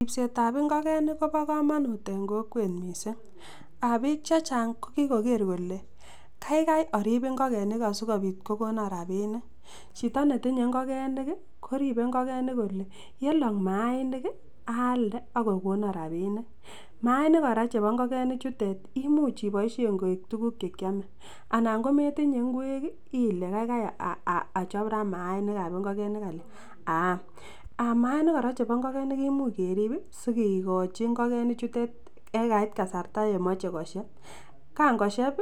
Ribsetab ing'okenik ko bokomonut en kokwet mising, Um biik chechang ko kikoker kolee kaikai oriib ing'okenik asikobit kokonon rabinik, chito netinye ing'okenik koribe ing'okenik kolee yelok mainik aalde akokonon rabinik, mainik kora chebo ing'okeni chutet imuch iboishen koik tukuk chekiome anan kometinye ing'wek ilee kaikai achob raa mainikab ing'okenik aam, mainik kora chebo ing'okenik kimuch kerib sikikochi ing'okeni chutet yekaiit kasarta yemoche kosieb, kang'osheb